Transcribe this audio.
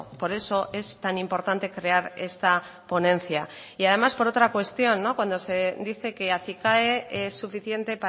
por eso es tan importante crear esta ponencia y además por otra cuestión cuando se dice que acicae es suficiente